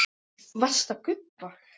Varstu að gubba?